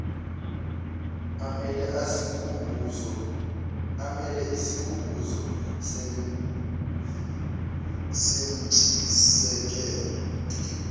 amele isikhumbuzo sentshisekelo